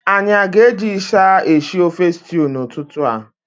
Anyị aga eji ịsha eshi ofe stew n'ụtụtụ a?